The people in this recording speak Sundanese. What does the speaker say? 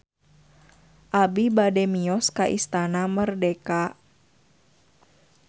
Abi bade mios ka Istana Merdeka